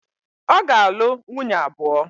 Ọ ga-alụ nwunye abụọ.